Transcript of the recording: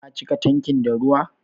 Ka cika tankin da ruwa?